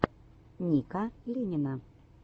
ника ленина